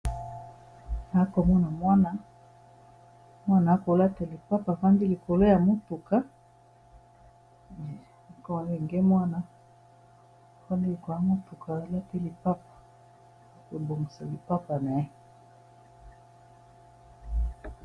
Na akomona mwana mwana akolata lipapa afandi likolo ya motuka enge mwana fanlk ya motuka olata lipapa ya kobongisa lipapa na ye